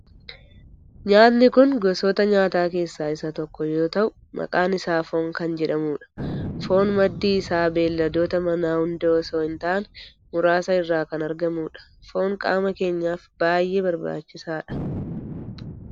Nyaatni kun gosoota nyaataa keessaa isa tokko yoo ta'u maqaan isaa foon kan jedhamudha. foon maddi isaa beelladoota manaa hunda osoo hin taane muraasa irraa kan argamudha. foon qaama keenyaf baayyee barbaachisaadha.